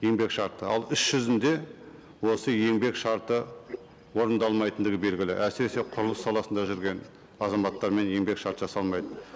еңбек шарты ал іс жүзінде осы еңбек шарты орындалмайтындығы белгілі әсіресе құрылыс саласында жүрген азаматтармен еңбек шарт жасалмайды